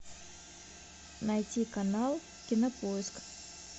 найти канал кинопоиск